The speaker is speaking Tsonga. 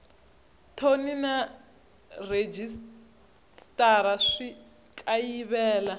thoni na rhejisitara swi kayivela